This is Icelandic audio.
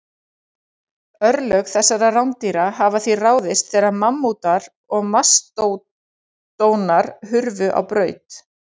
Örlög þessara rándýra hafa því ráðist þegar mammútar og mastódonar hurfu á braut.